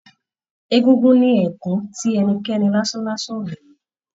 Egúngún ní ẹkù tí ẹnikẹ́ni lasanlasan o le wọ.